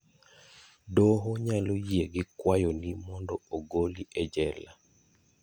Doho nyalo yie gi kwayoni mondo ogoli e jela.